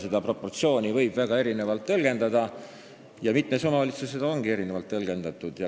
Seda proportsiooni võib väga erinevalt tõlgendada ja mitmed omavalitsused ongi erinevalt tõlgendanud.